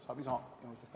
Saab lisaaega?